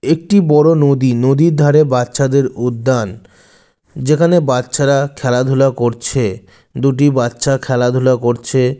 একটি বড়ো নদী নদীর ধারে বাচ্চাদের উদ্যান যেখানে বাচ্চারা খেলাধুলা করছে দুটি বাচ্চা খেলাধুলা করছে।